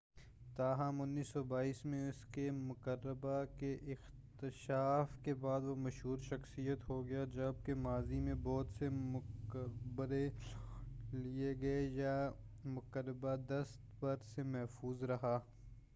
تاہم 1922 میں اس کے مقبرہ کے اکتشاف کے بعد وہ مشہور شخصیت ہو گیا جب کہ ماضی میں بہت سے مقبرے لوٹ لئے گئے یہ مقبرہ دست برد سے محفوظ رہا